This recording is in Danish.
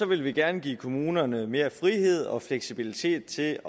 ville vi gerne give kommunerne mere frihed og fleksibilitet til